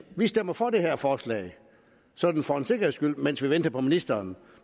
vi stemmer for det her forslag sådan for en sikkerheds skyld mens vi venter på at ministeren